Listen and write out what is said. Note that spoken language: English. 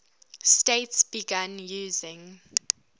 states began using